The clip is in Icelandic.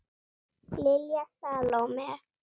Lilja Salóme.